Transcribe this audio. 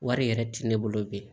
Wari yɛrɛ tɛ ne bolo bilen